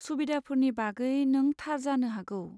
सुबिदाफोरनि बागै नों थार जानो हागौ।